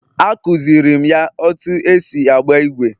A kụziirim ya otú e si agba ígwè